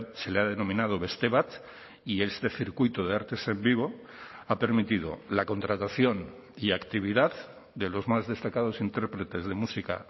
se le ha denominado beste bat y este circuito de artes en vivo ha permitido la contratación y actividad de los más destacados intérpretes de música